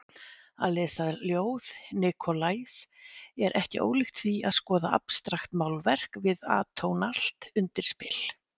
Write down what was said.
Að lesa ljóð Nikolajs er ekki ólíkt því að skoða abstraktmálverk við atónalt undirspil.